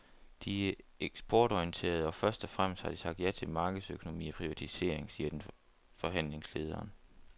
De er eksportorienterede og først og fremmest har de sagt ja til markedsøkonomi og privatisering, siger den forhandlingslederen.